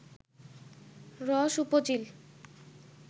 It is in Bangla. রস উপজিল